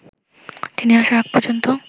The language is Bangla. তিনি আসার আগ পর্যন্ত